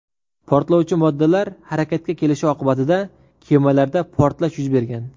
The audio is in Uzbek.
Portlovchi moddalar harakatga kelishi oqibatida kemalarda portlash yuz bergan.